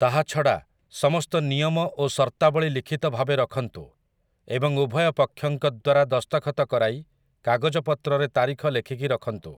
ତାହା ଛଡ଼ା, ସମସ୍ତ ନିୟମ ଓ ସର୍ତ୍ତାବଳୀ ଲିଖିତ ଭାବେ ରଖନ୍ତୁ ଏବଂ ଉଭୟ ପକ୍ଷଙ୍କ ଦ୍ୱାରା ଦସ୍ତଖତ କରାଇ, କାଗଜପତ୍ରରେ ତାରିଖ ଲେଖିକି ରଖନ୍ତୁ ।